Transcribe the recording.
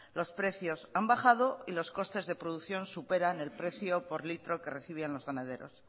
los precios han bajado y los costes de producción superan el precio por litro que recibían los ganaderos